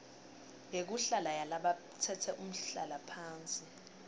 yekuhlala yalabatsetse umhlalaphansi